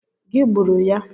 Gị gburu ya?